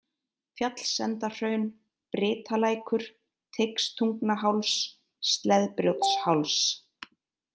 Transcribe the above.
Fjallsendahraun, Brytalækur, Teigstungnaháls, Sleðbrjótsháls